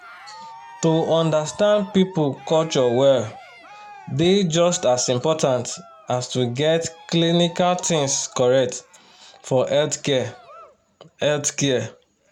to understand people culture well dey just as important as to get clinical things correct for healthcare. healthcare.